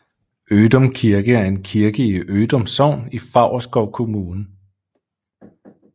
Ødum Kirke er en kirke i Ødum Sogn i Favrskov Kommune